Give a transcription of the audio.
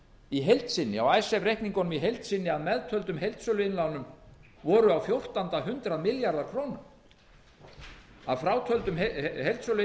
í heild sinni á icesave reikningunum í heild sinni að meðtöldum heildsöluinnlánum voru á fjórtánda hundrað milljarðar króna að frátöldum heildsöluinnlánunum er